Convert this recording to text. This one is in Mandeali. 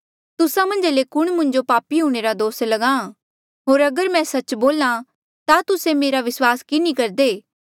तुस्सा मन्झा ले कुण मुंजो पापी हूंणे रा दोस ल्गाहां होर अगर मैं सच्च बोल्हा ता तुस्से मेरा विस्वास कि नी करदे